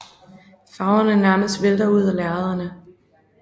Farverne nærmest vælter ud af lærrederne